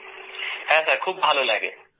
হ্যাঁ খুব ভালো লাগে